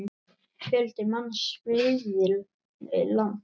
Fjöldi manns flýði land.